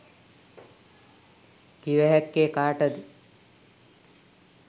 කිව හැක්කේ කාටද